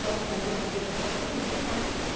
Só no Museu do Ipiranga, só tem duas cadeiras.